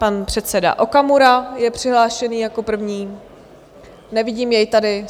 Pan předseda Okamura je přihlášený jako první - nevidím jej tady.